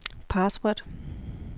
password